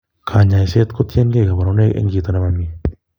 Konyoiset kotiengei koborunoik en chito nemioni.